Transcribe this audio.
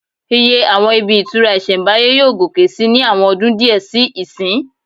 Iye àwọn ibi ìtura ìsẹ̀mbáyé yóò gòkè sí ní àwọn ọdún díẹ̀ sí ìsín